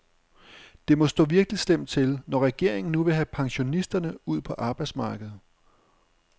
Det må stå virkelig slemt til, når regeringen nu vil have pensionisterne ud på arbejdsmarkedet.